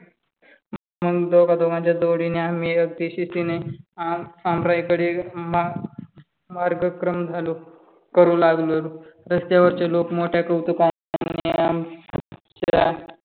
दोघा दोघा च्या जोडीने आम्ही अगदी शिस्तीने आमराई कडे मार्गक्रम करू लागलो. रस्त्यावरची लोक मोठ्या कौतुकाने